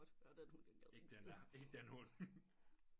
Ikke den der ikke den hund